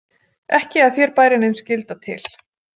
Ekki að þér bæri nein skylda til.